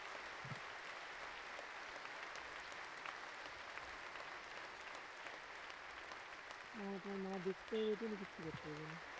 না তোমার মা দেখতেও পারবে না কিচ্ছু করতেও পারবে না